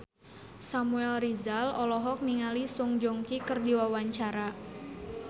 Samuel Rizal olohok ningali Song Joong Ki keur diwawancara